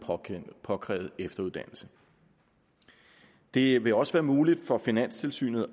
påkrævede efteruddannelse det vil også være muligt for finanstilsynet